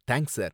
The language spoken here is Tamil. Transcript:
thanks sir